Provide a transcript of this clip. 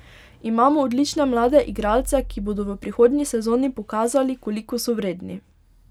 Imamo odlične mlade igralce, ki bodo v prihodnji sezoni pokazali, koliko so vredni.